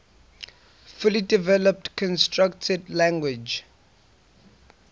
fully developed constructed language